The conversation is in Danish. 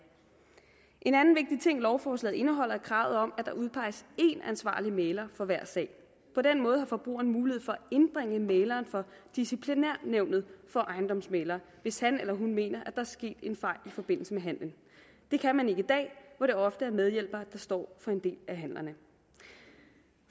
en anden vigtig ting lovforslaget indeholder er kravet om at der udpeges én ansvarlig mægler for hver sag på den måde har forbrugeren mulighed for at indbringe mægleren for disciplinærnævnet for ejendomsmæglere hvis han eller hun mener at er sket en fejl i forbindelse med handelen det kan man ikke i dag hvor det ofte er medhjælpere der står for en del af handlerne